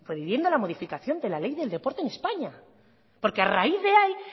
proponiendo la modificación de la ley del deporte en españa porque a raíz de ahí